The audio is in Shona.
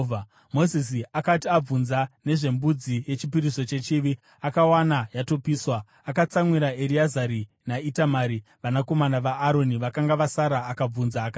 Mozisi akati abvunza nezvembudzi yechipiriso chechivi akawana yatopiswa, akatsamwira Ereazari naItamari vanakomana vaAroni vakanga vasara akabvunza akati,